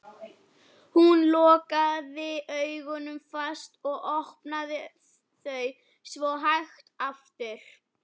Hún lokaði augunum fast og opnaði þau svo hægt aftur.